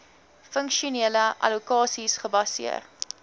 funksionele allokasies gebaseer